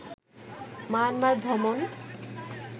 Myanmar ভ্রমণ